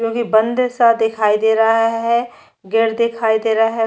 क्यूंकि मंदिर सा दिखाई दे रहा है गेट दिखाई दे रहा है।